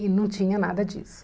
E não tinha nada disso.